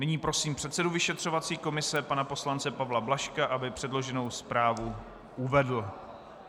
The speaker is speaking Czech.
Nyní prosím předsedu vyšetřovací komise pana poslance Pavla Blažka, aby předloženou zprávu uvedl.